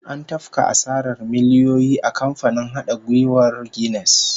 An tafka asarar miliyoyi a kamfanin hada giyar Guinness